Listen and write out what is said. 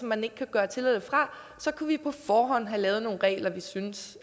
man ikke kan gøre til eller fra så kunne vi på forhånd have lavet nogle regler vi syntes